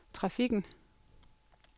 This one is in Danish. trafikken